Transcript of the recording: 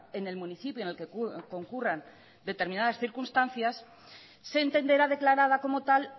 en el municipio en el que concurran determinadas circunstancias se entenderá declarada como tal